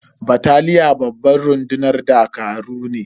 Bataliya babban rundunar dakaru ne.